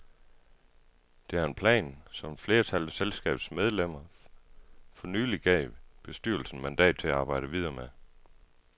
Det er en plan, som et flertal af selskabets medlemmer for nylig gav bestyrelsen mandat til at arbejde videre med.